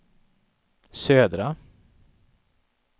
södra